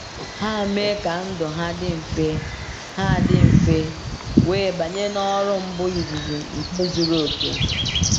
Ha mee ka ndụ ha dị mfe ha dị mfe wee banye n’ọrụ mbu izizi nke zuru oke.